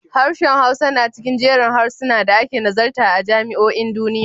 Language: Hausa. Harshen Hausa na cikin jerin harsunan da ake nazarta a jami'o'in duniya.